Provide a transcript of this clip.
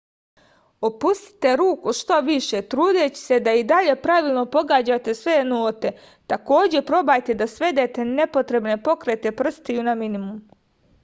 opustite ruku što više trudeći se da i dalje pravilno pogađate sve note takođe probajte da svedete nepotrebne pokrete prstiju na minimum